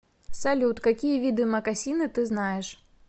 салют какие виды мокасины ты знаешь